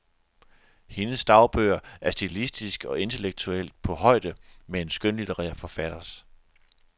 Hendes dagbøger er stilistisk og intellektuelt på højde med en skønlitterær forfatters.